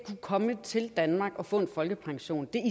komme til danmark og få en folkepension